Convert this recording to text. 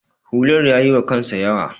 hular ya yiwa kansa yawa